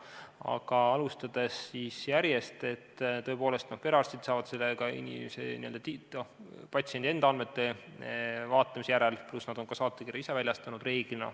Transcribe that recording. Aga alustades järjest, siis tõepoolest, perearstid saavad selle patsiendi kohta teada andmete vaatamise järel, pluss nad on ka saatekirja enamasti ise väljastanud.